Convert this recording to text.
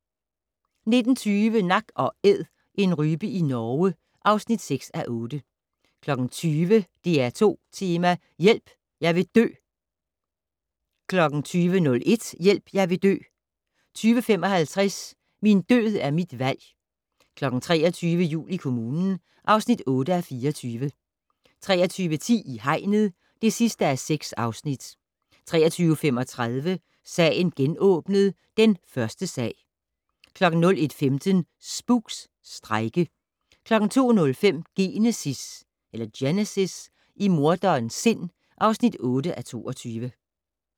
19:20: Nak & Æd - en rype i Norge (6:8) 20:00: DR2 Tema: Hjælp - jeg vil dø 20:01: Hjælp - jeg vil dø 20:55: Min død er mit valg 23:00: Jul i kommunen (8:24) 23:10: I hegnet (6:6) 23:35: Sagen genåbnet: Den første sag 01:15: Spooks: Strejke 02:05: Genesis - i morderens sind (8:22)